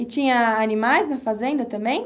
E tinha animais na fazenda também?